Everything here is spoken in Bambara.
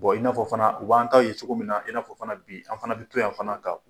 i n'afɔ fana, u b'an ta ye cogo min na, i n'afɔ fana bi, an fana bi to yan fana ka